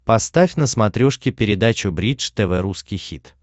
поставь на смотрешке передачу бридж тв русский хит